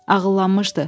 Ağıllanmışdı.